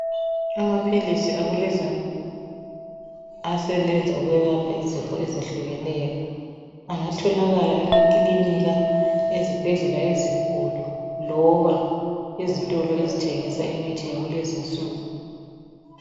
Amaphilisi akulezi insuku asebenza ukwelapha izifo ezehlukeneyo. Angatholakala emakilinika, ezibhedlela ezinkulu. Loba ezitolo, ezithengisa imithi yakulezi insuku.